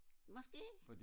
måske